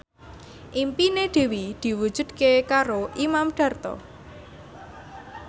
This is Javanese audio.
impine Dewi diwujudke karo Imam Darto